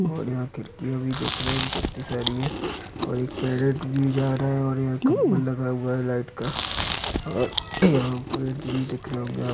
--और यहाँ खिड़कियां भी देख रहे हैं हम कित्ती सारी हैं और एक पैरोट भी जा रहा है और यहाँ खम्बा लगा हुआ है लाइट का और यहाँ पे आदमी दिख रहे होंगे आप--